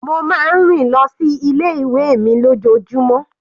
Mo máa ń rìn lọ sí ilé ìwé mi lójoojúmó.